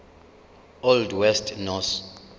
old west norse